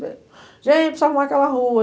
Gente, arrumar aquela rua.